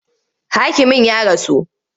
Hakimin ya rasu.